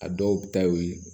A dɔw ta ye o ye